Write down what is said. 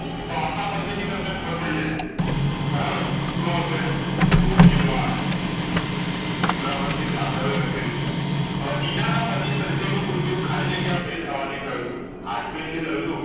ભાષા પરથી ભી તમને ખબરપડી જાય બરાબર શું આવશેગોહિલવાડ જોરાવરશી જાદવે લખેલુ છે અ નીના પતિ સંજય નું મૃત્યુ ખાલી જગ્યા fail થવાથી થયું તું hart fail થયુંતું